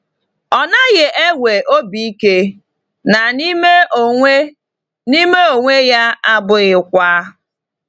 Ọ naghị enwe obi ike, na n’ime onwe n’ime onwe ya, ọ bụghịkwa.